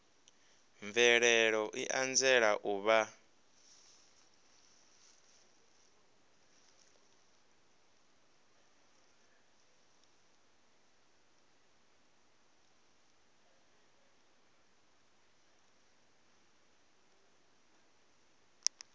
mvelelo i anzela u vha